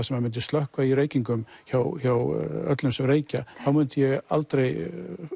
sem mundi slökkva í reykingum hjá hjá öllum sem reykja þá myndi ég aldrei